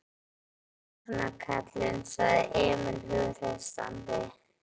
Svona, svona, kallinn, sagði Emil hughreystandi.